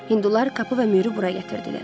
Hindular Kapı və Mürü bura gətirdilər.